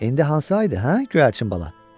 İndi hansı aydır hə, göyərçin bala?